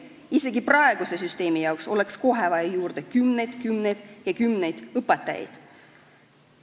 Isegi praeguse süsteemi jaoks oleks kohe vaja juurde kümneid, kümneid ja kümneid õpetajaid.